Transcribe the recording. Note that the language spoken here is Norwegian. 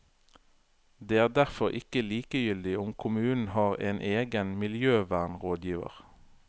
Det er derfor ikke likegyldig om kommunen har en egen miljøvernrådgiver.